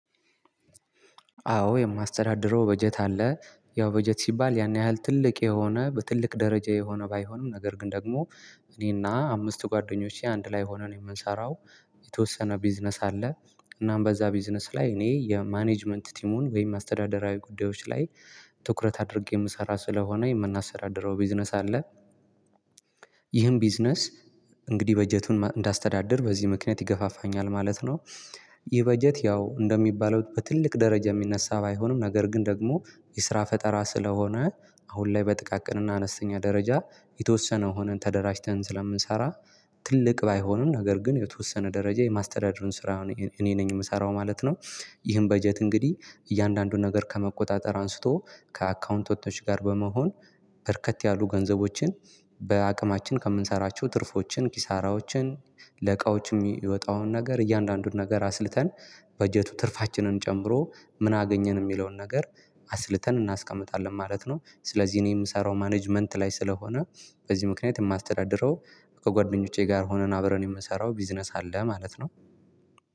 አዎ የማስተዳድረው በጀት አለ። ያው በጀት ሲባል ያን ያህል ትልቅ የሆነ በትልቅ ደረጃ የሆነ ባይሆንም ነገር ግን ደግሞ እኔና አምስት ጓደኞቼ አንድ ላይ ሆነን የምንሰራው የተወሰነ ቢዝነስ አለ። እናም በዛ ቢዝነስ ላይ እኔ የማኔጅመንት ቲሙን ወይም አስተዳደራዊ ጉዳዮች ላይ ትኩረት አድርጌ የምሰራ ስለሆነ የምናሰራድረው ቢዝነስ አለ። ይህን ቢዝነስ እንግዲህ በጀቱን እንዳስተዳድር በዚህ ምክኒያት ይገፋፋኛል ማለት ነው። ይህ በጀት ያው እንደሚባለው በትልቅ ደረጃ የሚነሳ ባይሆንም ነገር ግን ደግሞ የስራ ፈጠራ ስለሆነ አሁን ላይ በጥቃቅንና አነስተኛ ደረጃ የተወሰነ ሆነን ተደራጅተን ስለምንሰራ ትልቅ ባይሆንም ነገር ግን የተወሰነ ደረጃ የማስተዳደሩን ስራ እኔ ነኝ የምሰራው ማለት ነው። ይህን በጀት እንግዲህ እያንዳንዱ ነገር ከመቆጣጠር አንስቶ ከአካዉንታንቶች ጋር በመሆን በርከት ያሉ ገንዘቦችን በአቅማችን ከምንሰራቸው ትርፎችን ኪሳራዎችን ለእቃዎች የሚወጣውን ነገር እያንዳንዱን ነገር አስልተን በጀቱ ትርፋችንን ጨምሮ ምን አገኘን የሚለውን ነገር አስልተን እናስቀምጣለን ማለት ነው ስለዚህ እኔ የምሰራው ማኔጅመንት ላይ ስለሆነ በዚህ ምክንያት የማስተዳድረው ከጓደኞቼ ጋር ሆነን አብረን የምሰራው ቢዝነስ አለ ማለት ነው።